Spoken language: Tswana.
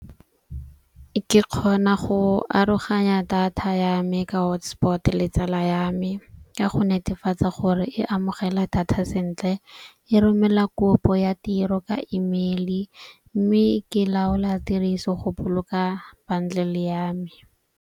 Ke kgona go aroganya data ya me ka hotspot le tsala ya me. Ka go netefatsa gore e amogela data sentle, e romela kopo ya tiro ka email-i. Mme ke laola tiriso go boloka bundle ya me.